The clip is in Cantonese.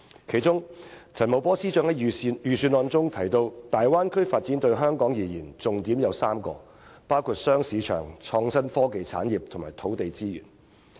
其中，陳茂波司長在預算案中提到："大灣區發展對香港而言，重點有3個，包括'雙市場'、'創新科技產業'和'土地資源'。